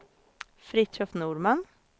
Fritiof Norman